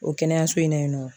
O kɛnɛyaso in na yen nɔ